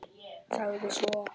Sagði svo: